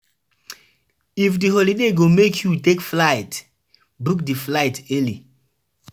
If na cultural festival you dey plan, respect di pipo culture